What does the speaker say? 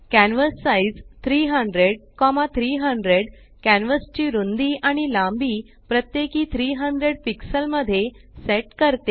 canvas size 300300 canvas ची रुंदी आणि लांबी प्रत्येकी 300 पिक्सेल मध्ये सेट करते